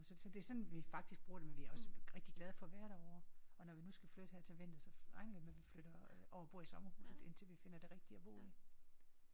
Så så det sådan vi faktisk sådan vi bruger men vi er også rigtig glade for at være derovre og når vi nu skal flytte her til vinter så regner jeg med at vi flytter over og bor sommerhuset indtil vi finder det rigtige at bo i